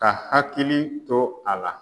Ka hakili to a la.